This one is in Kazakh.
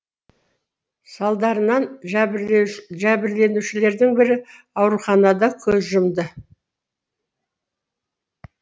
салдарынан жәбірленушілердің бірі ауруханада көз жұмды